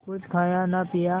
कुछ खाया न पिया